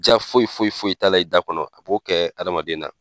Ja foyi foyi foyi t'a la, i da kɔnɔ, a b'o kɛ adamaden na.